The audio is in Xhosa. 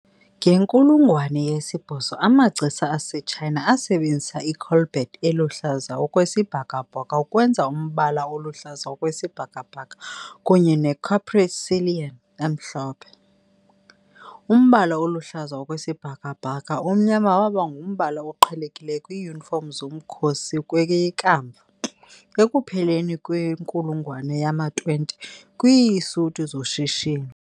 Ngenkulungwane yesibhozo amagcisa aseTshayina asebenzisa icolbet eluhlaza okwesibhakabhaka ukwenza umbala oluhlaza okwesibhakabhaka kunye neporcelain emhlophe. Umbala oluhlaza okwesibhakabhaka omnyama waba ngumbala oqhelekileyo kwiiyunifom zomkhosi kweye kamva, ekupheleni kwenkulungwane yama-20, kwiisuti zoshishino.